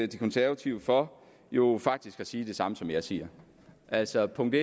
de konservative for jo faktisk at sige det samme som jeg siger altså punkt